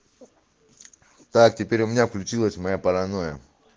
так теперь у меня включилась моя паранойя